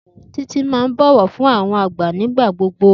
Titi maàn bọ wọ fun awọn agba nigbagbogbo.